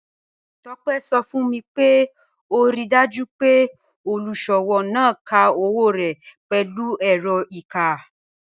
Tope sọ fun mi pé o ríì dájú pé olúṣọwọ náà ká owo rẹ́ pẹ̀lú èrọ̀ kíkà.